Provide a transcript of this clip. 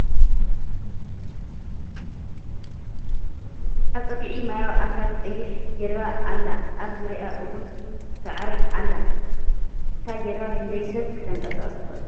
ኣብ ፀግዒ ማያዊ ኣካል ቀያሕ ጀልባ ኣላ ኣብ ዙርይአ እውን ስዕሪ ኣለ ። እታ ጀልባ ክንደይ ሰብ ክተንቀሳቅስ ትክእል ?